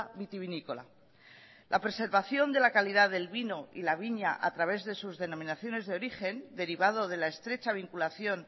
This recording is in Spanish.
vitivinícola la preservación de la calidad del vino y la viña a través de sus denominaciones de origen derivado de la estrecha vinculación